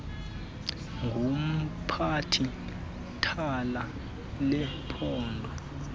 ngumphathi thala lephondo